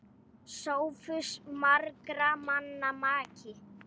SOPHUS: Margra manna maki!